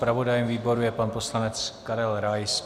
Zpravodajem výboru je pan poslanec Karel Rais.